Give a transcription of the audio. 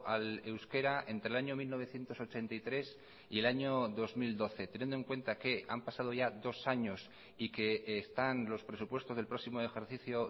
al euskera entre el año mil novecientos ochenta y tres y el año dos mil doce teniendo en cuenta que han pasado ya dos años y que están los presupuestos del próximo ejercicio